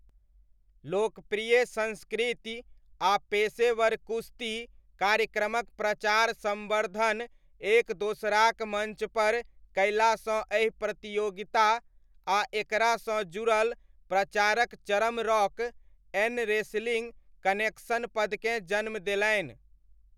लोकप्रिय संस्कृति आ पेशेवर कुश्ती कार्यक्रमक प्रचार सम्वर्धन एक दोसराक मञ्चपर कयलासँ एहि प्रतियोगता आ एकरासँ जुड़ल प्रचारक चरम रॉक 'एन' रेसलिङ्ग कनेक्शन पदकेँ जन्म देलनि।